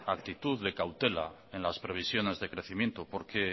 actitud de cautela en las previsiones de crecimiento porque